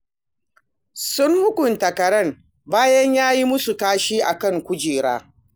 Sun hukunta karen bayan ya yi musu kashi a kan kujera